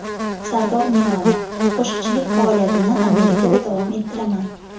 Sardor Milano: Qo‘shiqchilik faoliyatimni Amerikada davom ettiraman.